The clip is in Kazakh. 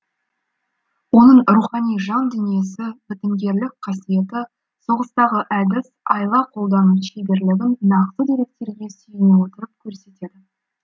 оның рухани жан дүниесі бітімгерлік қасиеті соғыстағы әдіс айла қолдану шеберлігін нақты деректерге сүйене отырып көрсетеді